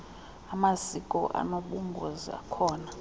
amasiko anobungozi akhona